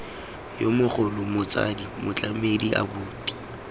yo mogolo motsadi motlamedi abuti